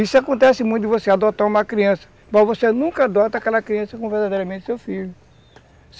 Isso acontece muito de você adotar uma criança, mas você nunca adota aquela criança como verdadeiramente seu filho.